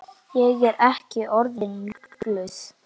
Ég er ekki orðin rugluð.